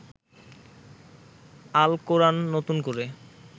আল কোরান নতুন করে